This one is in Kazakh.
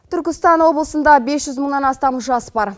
түркістан облысында бес жүз мыңнан астам жас бар